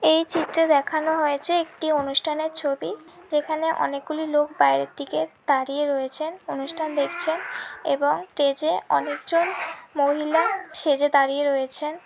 এই চিত্রে দেখানো হয়েছে একটি অনুষ্ঠান এর ছবি যেখানে অনেকগুলি লোক বাইরের দিকে দাড়িয়ে রয়েছেন অনুষ্ঠান দেখছেন এবং স্টেজ এ অনেকজন মহিলা সেজে দাড়িয়ে রয়েছেন।